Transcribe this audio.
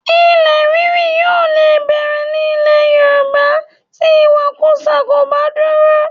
Ilẹ̀ ríri yóò lè bẹ̀rẹ̀ ní ilẹ̀ Yorùbá tí ìwakùsà kò bá dúró